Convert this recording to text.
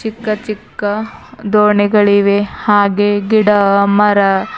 ಚಿಕ್ಕ ಚಿಕ್ಕ ದೋಣಿಗಳಿವೆ ಹಾಗೆ ಗಿಡ ಮರ--